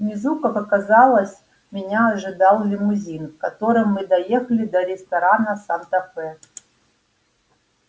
внизу как оказалось меня ожидал лимузин в котором мы доехали до ресторана санта фе